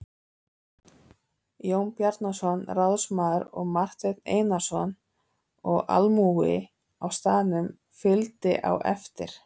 Jón Bjarnason ráðsmaður og Marteinn Einarsson og almúgi á staðnum fylgdi á eftir.